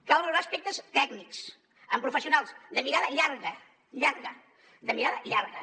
cal valorar aspectes tècnics amb professionals de mirada llarga llarga de mirada llarga